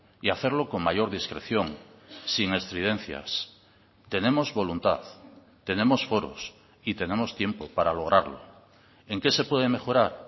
y hacerlo con mayor discreción sin estridencias tenemos voluntad tenemos foros y tenemos tiempo para lograrlo en qué se puede mejorar